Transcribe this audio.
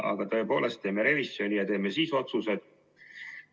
Aga tõepoolest, teeme revisjoni ja siis otsustame.